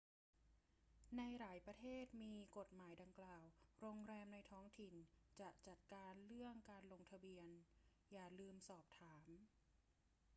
ในหลายประเทศที่มีกฎหมายดังกล่าว โรงแรมในท้องถิ่นจะจัดการเรื่องการลงทะเบียน อย่าลืมสอบถาม